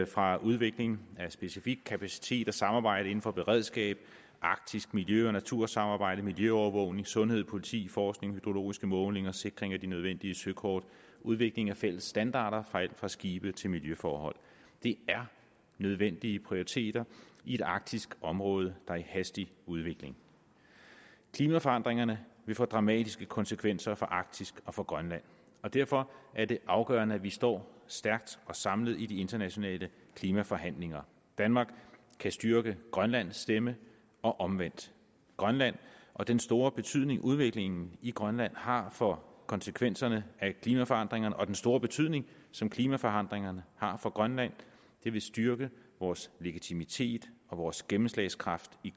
fra udvikling af specifik kapacitet og samarbejde inden for beredskab arktisk miljø og natursamarbejde miljøovervågning sundhed politi forskning hydrologiske målinger sikring af de nødvendige søkort udvikling af fælles standarder fra alt fra skibe til miljøforhold det er nødvendige prioriteter i et arktisk område der er i hastig udvikling klimaforandringerne vil få dramatiske konsekvenser for arktis og for grønland og derfor er det afgørende at vi står stærkt og samlet i de internationale klimaforhandlinger danmark kan styrke grønlands stemme og omvendt grønland og den store betydning udviklingen i grønland har for konsekvenserne af klimaforandringerne og den store betydning som klimaforandringerne har for grønland vil styrke vores legitimitet og vores gennemslagskraft i